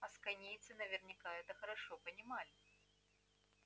асконийцы наверняка это хорошо понимали